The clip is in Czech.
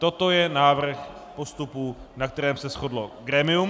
Toto je návrh postupu, na kterém se shodlo grémium.